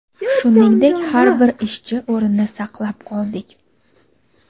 shuningdek har bir ishchi o‘rnini saqlab qoldik.